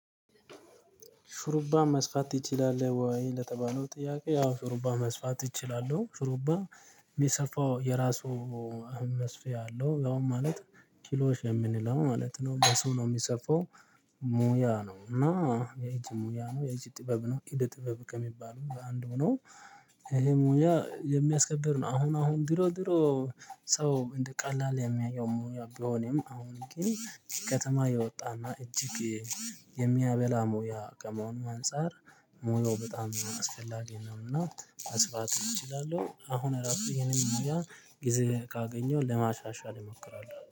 ሹሩባ መስፋት ትችላለህ ወይ? ለተባለው ጥያቄ ያው ሹሩባ መስፋት እችላለሁ ሹሩባ የሚሰፋው የራሱ መስፊያ አለው ያውም ማለት ኪሮሽ የምንለው ማለት ነው በሱ ነው የሚሰፋው። ሙያ ነው እና የእጅ ሙያ ነው የእጅ ጥበብ ነው እድ ጥበብ ከሚባለው አንዱ ነው። ይሄ ሙያ የሚያስከብር ነው አሁን አሁን ድሮ ድሮ ሰው እንደ ቀላል የሚያየው ሙያ ቢሆንም አሁን ግን ከከተማ የወጣና እጅግ የሚያበላ ሙያ ከመሆኑ አንፃር ሙያው በጣም አስፈላጊ ነው። እና መስፋት እችላለሁ አሁን እራሱ ይሄንን ነገር ጊዜ ካገኘው ለማሻሻል እሞክራለሁ